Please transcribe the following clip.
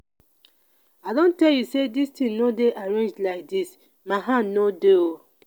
i don tell you say dis thing no dey arranged like dis my hand no dey oo